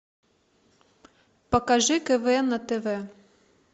покажи квн на тв